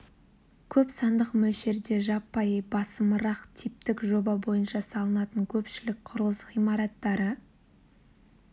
көп сандық мөлшерде жаппай басымырақ типтік жоба бойынша салынатын көпшілік құрылыс ғимараттары